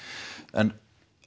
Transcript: en